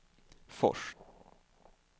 Fors